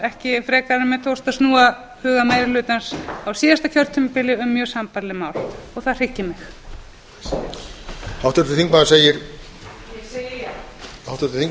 ekki frekar en mér tókst að snúa huga meiri hlutans á síðasta kjörtímabili um mjög sambærileg mál það hryggir mig